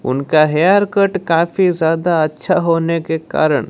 उनका haircut काफी ज्यादा अच्छा होने के कारण--